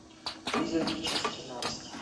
призраки часть тринадцать